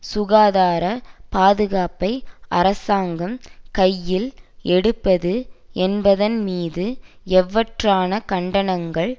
சுகாதார பாதுகாப்பை அரசாங்கம் கையில் எடுப்பது என்பதன் மீது எவ்வாறான கண்டனங்கள்